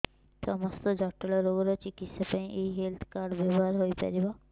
ସମସ୍ତ ଜଟିଳ ରୋଗର ଚିକିତ୍ସା ପାଇଁ ଏହି ହେଲ୍ଥ କାର୍ଡ ବ୍ୟବହାର ହୋଇପାରିବ